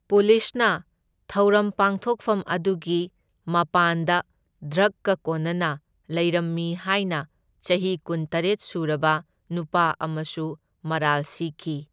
ꯄꯨꯂꯤꯁꯅ ꯊꯧꯔꯝ ꯄꯥꯡꯊꯣꯛꯐꯝ ꯑꯗꯨꯒꯤ ꯃꯄꯥꯟꯗ ꯗ꯭ꯔꯒꯀ ꯀꯣꯟꯅꯅ ꯂꯩꯔꯝꯃꯤ ꯍꯥꯢꯅ ꯆꯍꯤ ꯀꯨꯟꯇꯔꯦꯠ ꯁꯨꯔꯕ ꯅꯨꯄꯥ ꯑꯃꯁꯨ ꯃꯔꯥꯜ ꯁꯤꯈꯤ꯫